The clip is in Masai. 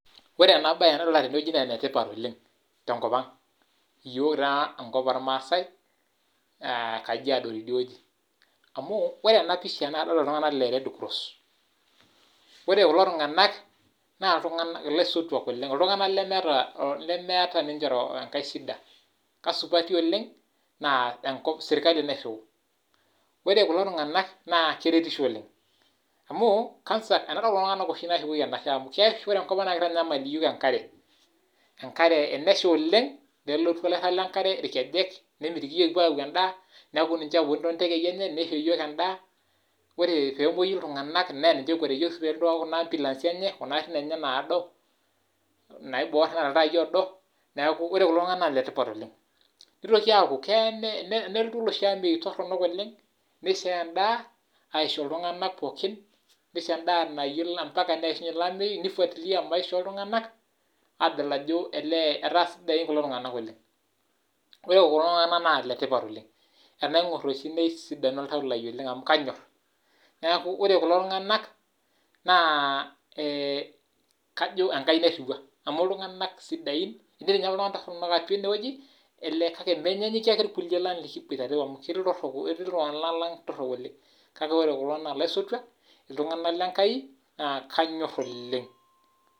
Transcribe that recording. Ore ena bae nidolita tene naa enetipat oooleng te nkop ang yiook taa enkop ormaasai kajiado teide wueji. Amu ore ena pisha nadolita iltungana le red cross ore kulo tungana na ilaisotuak oleng iltungana lemeeta ninche enkae shida, kasupati oooleng naa enkop serkali nairriu ore kulo tungana na keretisho oooleng. Amu kwanza tenadol oshi kulo tungana nashukoki enashe sapuk oooleng amu ore enkop ang naa: keitanyanyamal yiook enkare enkare tenasha oooleng nelotu oloirag le nkare nemitiki yiook kipuo ayau edaa, neaku ninche ooponu too tekei enye neisho yiook edaa. Ore pee emuoi iltungana naa niche ookwetie yiook too garin enye kuna [ambulance] enye naado naibor neeta iltaai oodo neaku ore kulo tungana naa letipat oooleng. Nitoki aaku keya nelotu oloshi ameyu torono oooleng neishooyo edaa aisho iltungana pooki. Neishoo edaa naishaa nifuatilia mpaka neishunye ilo ameyu nesuj si maisha oltungana ayiolou ajo elee etaa sidain kulo tungana oooleng. Ore kulo tungana naa letipata oooleng tenaingor oshi kulo tungana nesidanu oltau lai oooleng amu kanyor. Neaku ore kulo tungana naa ee kajo Enkai ake nairiua amu iltungana sidain ketii ninye iltungana torok atua ine wueji kake menyaanyukie irkulikae lang likiboitare amu ketii iltorok ketii iltungana lang torok oooleng na ore kulo naa laisotuak iltungana le Enkai na kanyor oooleng